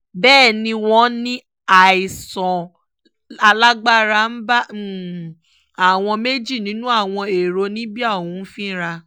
bẹ́ẹ̀ ni wọ́n ní àìsàn alágbára ń bá àwọn méjì nínú àwọn ẹ̀rọ libya ọ̀hún fínra